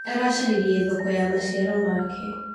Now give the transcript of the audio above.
Aracaririe thoko ya maciaro make.